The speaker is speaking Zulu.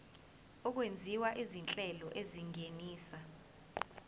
okwenziwa izinhlelo ezingenisa